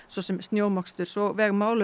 svo sem snjómoksturs og